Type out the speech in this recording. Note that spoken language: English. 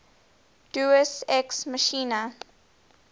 deus ex machina